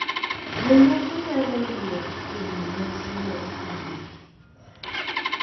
Jomoko nyalo yiero timo nyasi mag kindegi